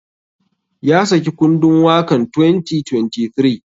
Ya saki kundun wakan 2023.